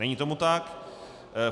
Není tomu tak.